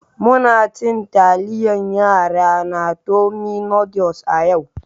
Muna cin taliyar yara na tummy noodles a yau.